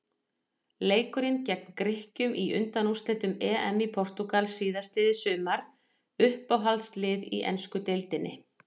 Leikurinn gegn Grikkjum í undanúrslitum EM í Portúgal síðastliðið sumar Uppáhaldslið í ensku deildinni?